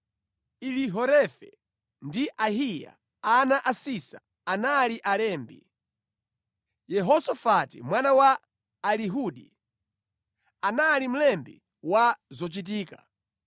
Elihorefe ndi Ahiya, ana a Sisa, anali alembi; Yehosafati mwana wa Ahiludi, anali mlembi wa zochitika;